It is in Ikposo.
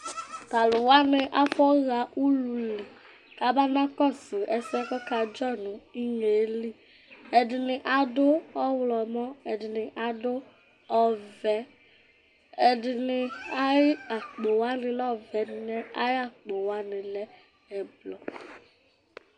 Tʋ alʋ wanɩ afɔɣa ulu li kabanakɔsʋ ɛsɛ yɛ kʋ ɔkadzɔ nʋ inye yɛ li Ɛdɩnɩ adʋ ɔɣlɔmɔ, ɛdɩnɩ adʋ ɔvɛ Ɛdɩnɩ ayʋ akpo lɛ ɔvɛ, ɛdɩnɩ ayʋ akpo wanɩ lɛ ɛblɔ